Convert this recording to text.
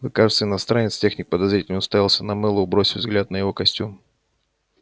вы кажется иностранец техник подозрительно уставился на мэллоу бросив взгляд на его костюм